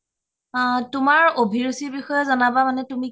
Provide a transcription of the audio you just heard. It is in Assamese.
তোমাৰ অভিৰুচি বিষয়ে জনাবা মানে তুমি কি কৰি